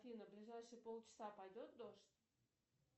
афина ближайшие пол часа пойдет дождь